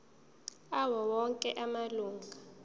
awo onke amalunga